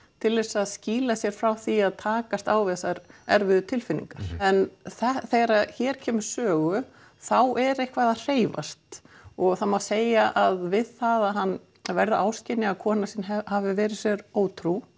til að skýla sér frá því að takast á við þessar erfiðu tilfinningar en þegar hér kemur við sögu þá er eitthvað að hreyfast og það má segja að við það að hann verður áskynja að kona sín hafi verið sér ótrú